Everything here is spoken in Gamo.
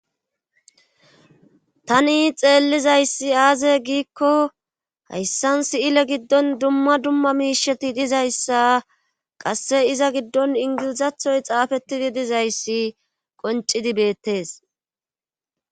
Tani xeellizayssi aaze giikko hayssan siyile giddon dumma dumma miisheti dizayssa qasse iza giddon ingilizathoy xaafettidi dizayssi qoncidi beettes.